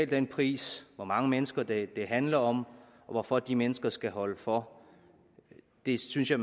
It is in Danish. den pris hvor mange mennesker det handler om og hvorfor de mennesker skal holde for det synes jeg